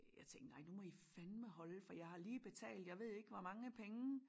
Jeg tænkte nej nu må i fandme holde for jeg har lige betalt jeg ved ikke hvor mange penge